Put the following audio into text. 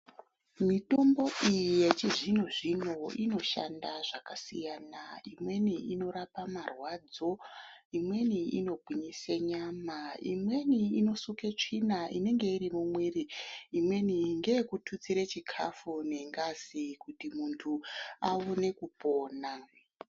Mitombo iyi yechizvino zvino inoshanda zvakasiyana siyana imweni inorape marwadzo, imweni inongwinyise nyama, imweni inosuke tsvina inenge iri mumuviri, imweni ngeyekututsira chikafu nengazi kuti munthu aone kopona.